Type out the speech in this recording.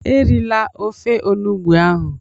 Erila ofe Onugbu ahụ!